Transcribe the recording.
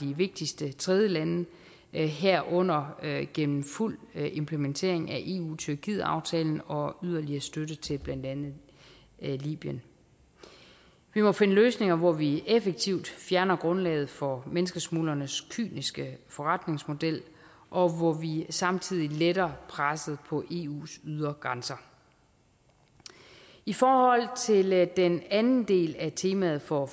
de vigtigste tredjelande herunder gennem en fuld implementering af eu tyrkietaftalen og yderligere støtte til blandt andet libyen vi må finde løsninger hvor vi effektivt fjerner grundlaget for menneskesmuglernes kyniske forretningsmodel og hvor vi samtidig letter presset på eus ydre grænser i forhold til den anden del af temaet for